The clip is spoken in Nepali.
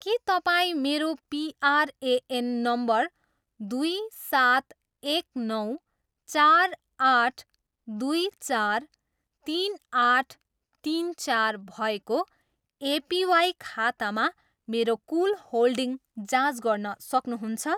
के तपाईँँ मेरो पिआरएएन नम्बर दुई सात एक नौ चार आठ दुई चार तिन आठ तिन चार भएको एपिवाई खातामा मेरो कुल होल्डिङ जाँच गर्न सक्नुहुन्छ